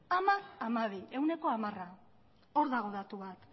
hamar hamabi ehuneko hamara hor dago datu bat